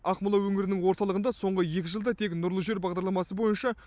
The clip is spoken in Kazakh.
ақмола өңірінің орталығында соңғы екі жылда тек нұрлы жер бағдарламасы бойынша